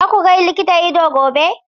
Za ku ga likitan ido gobe?